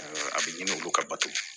a bɛ ɲini olu ka bato